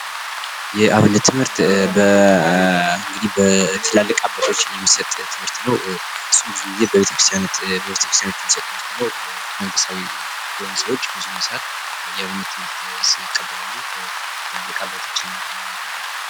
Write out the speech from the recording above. የአብነት ትምህርት እንግዲህ በትላልቅ አባቶች የሚሰጥ ትምህርት ነው ። እሱም ብዙ ጊዜ በቤተክርስቲያኖች የሚሰጥ ትምህርት ነው መንፈሳዊ የሆኑ ሰዎች ብዙውን ሰአት የአብነት ትምህርት ይቀበላሉ ትላልቅ አባቶች እና የሀይማኖት አባቶች ።